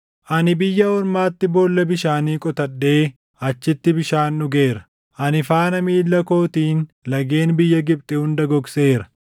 Ani biyya ormaatti boolla bishaanii qotadhee achitti bishaan dhugeera. Ani faana miilla kootiin lageen biyya Gibxi hunda gogseera.”